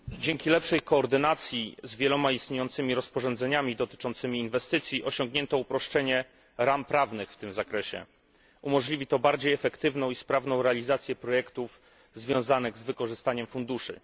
Panie Przewodniczący! Dzięki lepszej koordynacji z wieloma istniejącymi rozporządzeniami dotyczącymi inwestycji osiągnięto uproszczenie ram prawnych w tym zakresie. Umożliwi to bardziej efektywną i sprawną realizację projektów związanych z wykorzystaniem funduszy.